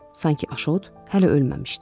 Sanki Aşot hələ ölməmişdi.